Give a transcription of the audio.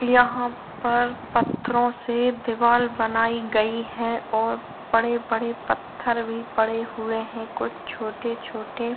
यहाँ पर पत्थरों से दीवार बनायीं गयी है और बड़े बड़े पत्थर भी पड़े हुए है कुछ छोटे छोटे --